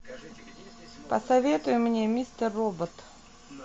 посоветуй мне мистер робот